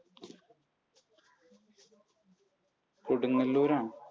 കൊടുങ്ങല്ലൂർ ആണ്.